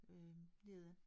Øh nede